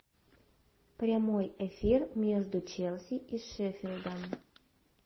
прямой эфир между челси и шеффилдом